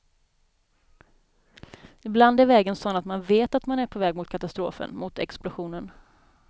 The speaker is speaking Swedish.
Ibland är vägen sådan att man vet att man är på väg mot katastrofen, mot explosionen.